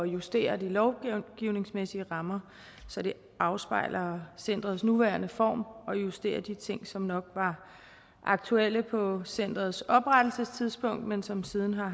justere de lovgivningsmæssige rammer så de afspejler centerets nuværende form og justerer de ting som nok var aktuelle på centerets oprettelsestidspunkt men som siden har